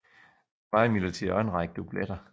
Der var imidlertid også en række dubletter